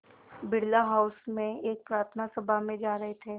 Birla House में एक प्रार्थना सभा में जा रहे थे